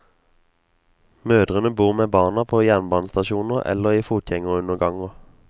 Mødrene bor med barna på jernbanestasjoner eller i fotgjengerunderganger.